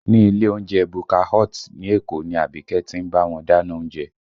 Ní ilé oúnjẹ Bukka Hut ní Èkó ni Abike ti ń bá wọn dáná oúnjẹ